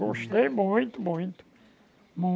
Gostei muito, muito.